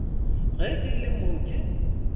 ge ke le mo ke